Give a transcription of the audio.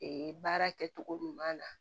Ee baara kɛcogo ɲuman na